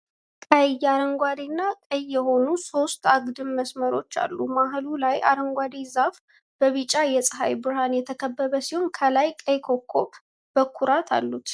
ቀይ፣ አረንጓዴና ቀይ የሆኑ ሦስት አግድም መስመሮች አሉ። መሃሉ ላይ አረንጓዴ ዛፍ በቢጫ የፀሐይ ብርሃን የተከበበ ሲሆን፣ ከላይ ቀይ ኮከብ በኩራት አሉት።